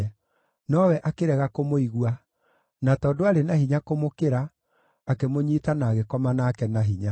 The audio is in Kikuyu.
Nowe akĩrega kũmũigua, na tondũ aarĩ na hinya kũmũkĩra, akĩmũnyiita na agĩkoma nake na hinya.